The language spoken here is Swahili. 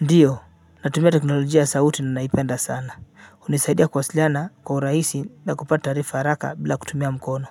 Ndiyo natumia teknolojia ya sauti na naipenda sana hunisaidia kuwasiliana kwa urahisi na kupata taarifa haraka bila kutumia mkono